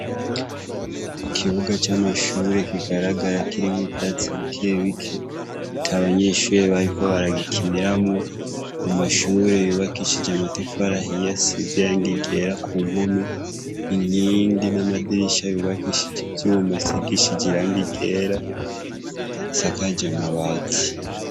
Ikibuga c'amashure kigaragara kirimwo uvyatsi bikebike ata banyeshure bariko baragikiniramwo, amashure yubakishije amatafari ahiye asize irangi ryera ku mpome, inkingi n'amadirisha yubakishije ivyuma asigishije irangi ryera, isakaje amabati.